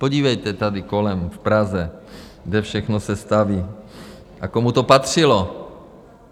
Podívejte, tady kolem, v Praze, kde všechno se staví a komu to patřilo.